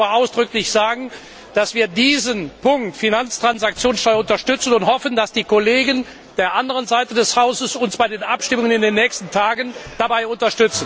Ich möchte aber ausdrücklich sagen, dass wir diesen Punkt Finanztransaktionssteuer unterstützen und hoffen, dass die Kollegen der anderen Seite des Hauses uns bei den Abstimmungen in den nächsten Tagen dabei unterstützen werden.